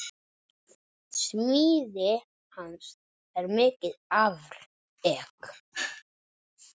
Smíði hans er mikið afrek.